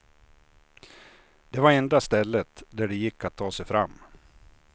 Det var enda stället där det gick att ta sig fram.